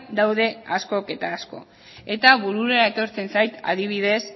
daude askok eta askok eta burura etortzen zait adibidez